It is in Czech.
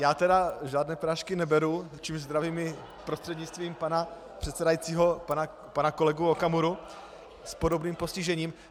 Já tedy žádné prášky neberu , čímž zdravím i prostřednictvím pana předsedajícího pana kolegu Okamuru s podobným postižením.